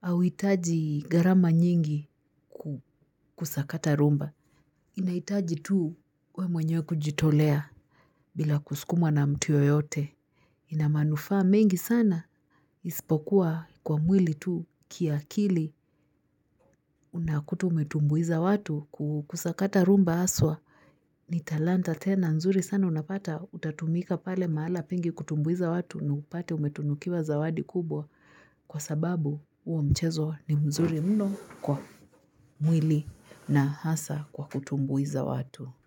hauitaji gharama nyingi kusakata rumba. Inahitaji tu wewe mwenyewe kujitolea bila kuskumwa na mtu yoyote. Ina manufaa mengi sana ispokuwa kwa mwili tu kiakili unakuta umetumbuiza watu kusakata rumba aswa. Ni talanta tena nzuri sana unapata utatumika pale mahala pengi kutumbuiza watu na upate umetunukiwa zawadi kubwa kwa sababu huo mchezo ni mzuri mno kwa mwili na hasa kwa kutumbuiza watu.